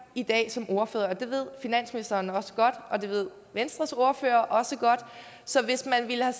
i dag som ordfører og det ved finansministeren også godt og det ved venstres ordfører også godt så hvis man ville have